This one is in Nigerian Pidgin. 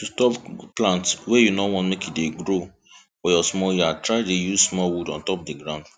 to stop plant wey you no want make e dey grow for your small yard try dey use small wood on top di ground